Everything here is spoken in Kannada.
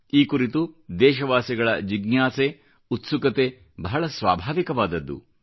ಈ ಕುರಿತು ದೇಶವಾಸಿಗಳ ಜಿಜ್ಞಾಸೆ ಉತ್ಸುಕತೆ ಬಹಳ ಸ್ವಾಭಾವಿಕವಾದದ್ದು